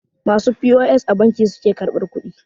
masu p.o.s a banki suke karbar kudi?